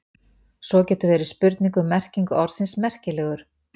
Svo getur verið spurning um merkingu orðsins merkilegur.